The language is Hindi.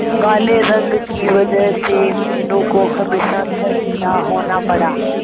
काले रंग की वजह से मीनू को हमेशा शर्मिंदा होना पड़ा